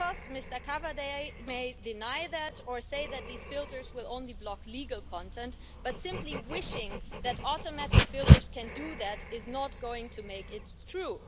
Mr Cavada may deny that, or say that these filters will only block legal content, but simply wishing that automatic filters can do that is not going to make it true.